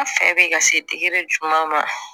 An fɛ bɛ ka se juma ma